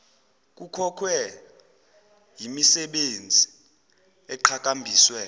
kukhohlwe yimisebenzi eqhakambiswe